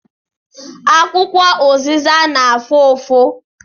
Akwụkwọ ụzịza na-afụ ụfụ